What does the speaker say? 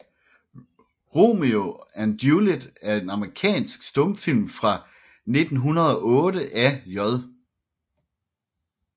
Romeo and Juliet er en amerikansk stumfilm fra 1908 af J